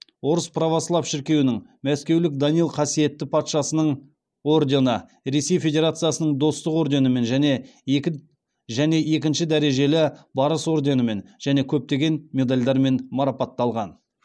орыс православ шіркеуінің мәскеулік данил қасиетті патшасының ордені ресей федерациясының достық орденімен және екінші дәрежелі барыс орденімен және көптеген медальдармен марапатталған